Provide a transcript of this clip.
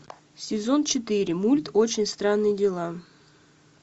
сезон четыре мульт очень странные дела